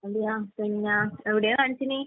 അതെയാ? പിന്നെ, എവിടെയാ കാണിച്ചത്?